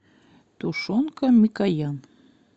тушенка микоян